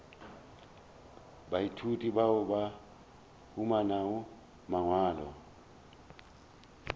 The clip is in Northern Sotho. baithuti bao ba humanago mangwalo